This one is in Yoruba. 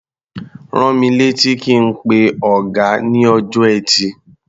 Rán mi létí kí n pe ọ̀gá ní ọjọ́ Ẹtì.